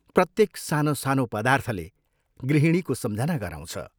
प्रत्येक सानोसानो पदार्थले गृहिणीको सम्झना गराउँछ।